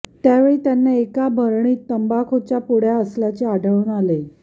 त्यावेळी त्यांना एका भरणीत तंबाखूच्या पुड्या असल्याचे आढळून आले